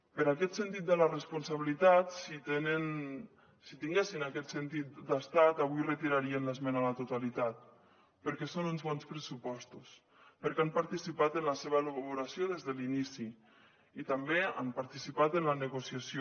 per aquest sentit de la responsabilitat si tinguessin aquest sentit d’estat avui retirarien l’esmena a la totalitat perquè són uns bons pressupostos perquè han participat en la seva elaboració des de l’inici i també han participat en la negociació